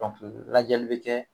lajɛli bɛ kɛ